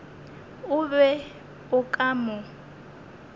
o be o ka mo